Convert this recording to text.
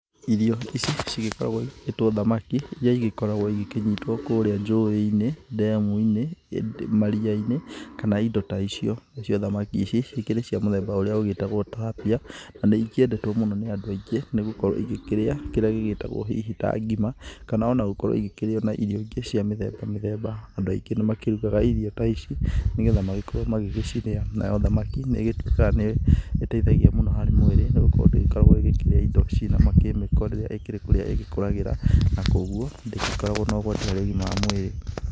Irio ici cigĩkoragwo igĩtwo thamaki iria igĩkoragwo igĩkĩnyitwo kũrĩa njũĩ-inĩ, ndemu-inĩ maria-inĩ kana indo ta icio. Nacio thamaki ici ikĩrĩ cia mũthemba ũrĩa ũgĩtagwo tilapia na nĩikĩendetwo mũno nĩ andũ aingĩ nĩ gũkorwo igĩkĩrĩa kĩrĩa gĩgĩtagwo hihi ta ngima kana ona gũkorwo igĩkĩrĩo na irio ingĩ cia mĩthemba mĩthemba. Andũ aingĩ nĩ makĩrugaga irio ta ici nĩ getha magĩkorwo magĩgĩcirĩa, nayo thamaki nĩ ĩgĩtuĩkaga nĩ ĩgĩteithagia mũno harĩ mwĩrĩ nĩ gũkorwo ndĩgĩkoragwo ĩkĩrĩa indo ici cina makemiko rĩrĩa ĩkĩrĩ kũrĩa ĩkũragĩra. Na koguo ndĩgĩkoragwo na ũgwati harĩ ũgima wa mwĩrĩ.